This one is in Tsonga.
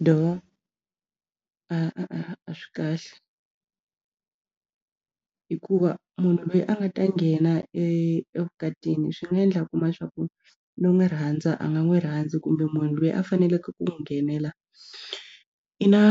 a a swi kahle hikuva munhu loyi a nga ta nghena e evukatini swi nga endla a kuma swa ku n'wi rhandza a nga n'wi rhandzi kumbe munhu loyi a faneleke ku n'wi nghenela i na